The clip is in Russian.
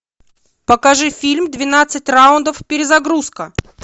покажи фильм двенадцать раундов перезагрузка